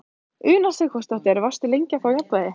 Una Sighvatsdóttir: Varstu lengi að ná jafnvægi?